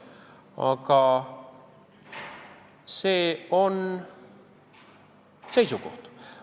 Aga see on seisukoht.